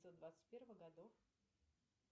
двадцать первых годов